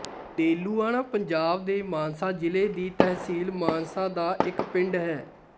ਡੇਲੂਆਣਾ ਪੰਜਾਬ ਦੇ ਮਾਨਸਾ ਜ਼ਿਲ੍ਹੇ ਦੀ ਤਹਿਸੀਲ ਮਾਨਸਾ ਦਾ ਇੱਕ ਪਿੰਡ ਹੈ